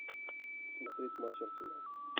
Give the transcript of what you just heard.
смотреть матч арсенал